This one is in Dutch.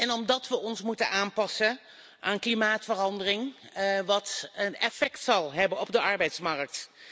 En omdat we ons moeten aanpassen aan klimaatverandering, wat een effect zal hebben op de arbeidsmarkt.